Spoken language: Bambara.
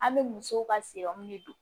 An bɛ musow ka de don